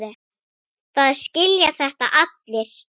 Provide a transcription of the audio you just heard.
Það skilja þetta allir.